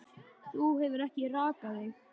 Þú hefur ekki rakað þig.